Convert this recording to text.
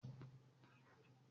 N jé o féràn bàtà titun náà